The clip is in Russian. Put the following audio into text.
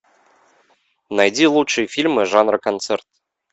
найди лучшие фильмы жанра концерт